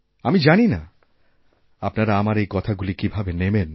আমি জানি না আপনারা আমার এই কথাগুলি কীভাবে নেবেন